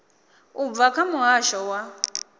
u bva kha muhasho wa